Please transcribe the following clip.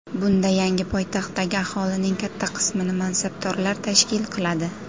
Bunda yangi poytaxtdagi aholining katta qismini mansabdorlar tashkil qiladi.